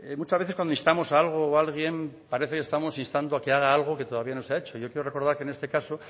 muchas veces cuando instamos a algo o a alguien parece que estamos instando a que haga algo que todavía no se ha hecho yo quiero recordar que en este caso